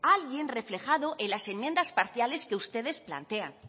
alguien reflejado en las enmiendas parciales que ustedes plantean